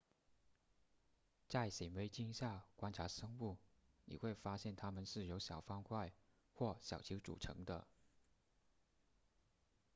在显微镜下观察生物你会发现它们是由小方块或小球组成的